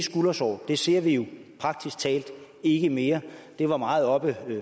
skuldersår dem ser vi jo praktisk talt ikke mere det var meget oppe